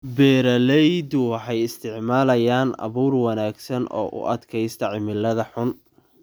Beeraleydu waxay isticmaalayaan abuur wanaagsan oo u adkaysta cimilada xun.